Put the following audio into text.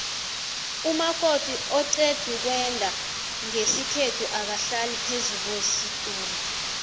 umakoti oqedukwenda nqesikhethu akahlali phezukwesitula